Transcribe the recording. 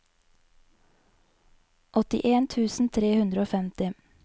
åttien tusen tre hundre og femti